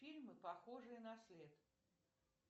фильмы похожие на след